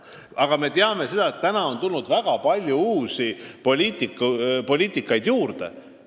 Samas me teame, et praeguseks on lisandunud väga palju uusi poliitilisi suundi.